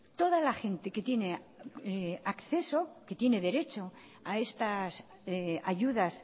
toda la gente que tiene derecho a estas ayudas